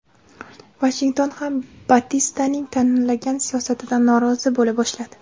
Vashington ham Batistaning tanlagan siyosatidan norozi bo‘la boshladi.